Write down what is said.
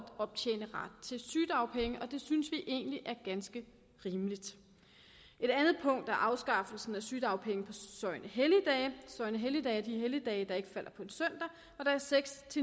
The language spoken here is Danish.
optjene ret til sygedagpenge og det synes vi egentlig er ganske rimeligt et andet punkt er afskaffelsen af sygedagpenge på søgnehelligdage som er de helligdage der ikke falder på en søndag og der er seks